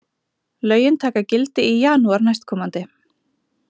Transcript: Lögin taka gildi í janúar næstkomandi